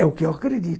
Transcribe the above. É o que eu acredito.